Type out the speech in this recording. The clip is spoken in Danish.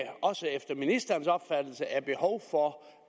også efter ministerens opfattelse er behov for